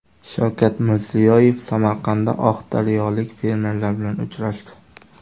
Shavkat Mirziyoyev Samarqandda oqdaryolik fermerlar bilan uchrashdi.